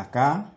A ka